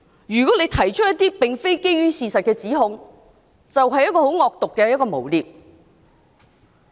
如果提出一些並非基於事實的指控，就是很惡毒的誣衊。